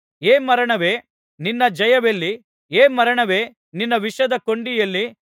ಹೇ ಮರಣವೇ ನಿನ್ನ ಜಯವೆಲ್ಲಿ ಹೇ ಮರಣವೇ ನಿನ್ನ ವಿಷದ ಕೊಂಡಿ ಎಲ್ಲಿ